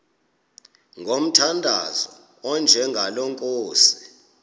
ngomthandazo onjengalo nkosi